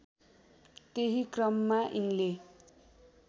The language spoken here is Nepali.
त्यही क्रममा यिनले